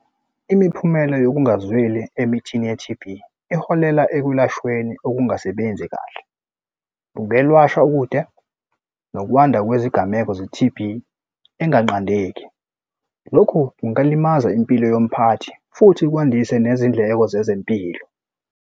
Imiphumela yokungazweli emithini ye-T_B iholela ekulashweni okungasebenzi kahle. Ungelwashwa ukude, nokwanda kwezigameko ze-T_B enganqandeki. Lokhu kungalimaza impilo yomphathi futhi kwandise nezindleko zezempilo.